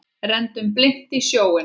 Renndum blint í sjóinn.